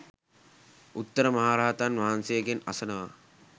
උත්තර මහරහතන් වහන්සේගෙන් අසනවා.